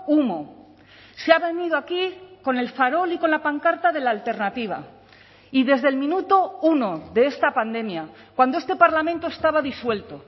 humo se ha venido aquí con el farol y con la pancarta de la alternativa y desde el minuto uno de esta pandemia cuando este parlamento estaba disuelto